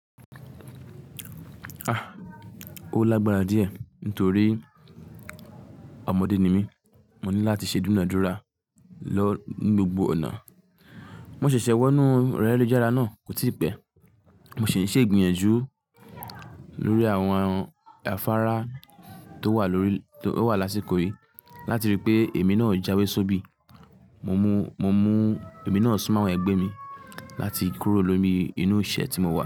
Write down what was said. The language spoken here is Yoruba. Ah! Ó lágbára díẹ̀ nítorí ọmọdé ni mí, mo ní láti ṣe dúnàdúrà lọ ní gbogbo ọ̀nà. Mo ṣẹ̀ṣẹ̀ wọnúu ẹ̀rọ ayélujára náà, kò tíì pẹ́, mo sì ń ṣè ìgbìyànjú lórí àwọn afárá tó wà lórí l tó wà lásìkò yìí láti ríi pé èmi náà jáwé sóbì. Mo mú, mo múú èmi náà súnmọ́ àwọn ẹgbẹ́ mi láti kúrò lómi inú ìṣẹ́ tí mo wà.